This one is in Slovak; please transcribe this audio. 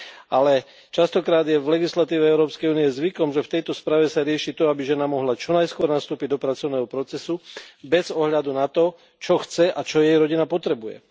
Ale častokrát je v legislatíve Európskej únie zvykom, že v tejto správe sa rieši to, aby žena mohla čo najskôr nastúpiť do pracovného procesu, bez ohľadu na to, čo chce a čo jej rodina potrebuje.